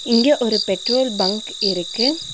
இங்க ஒரு petrol bunk இருக்கு.